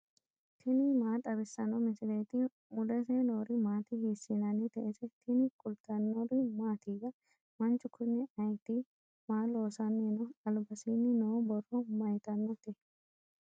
tini maa xawissanno misileeti ? mulese noori maati ? hiissinannite ise ? tini kultannori mattiya? Manchu Kuni ayiitti? Maa loosanni noo? Alibasiinni noo borro mayiittanotte?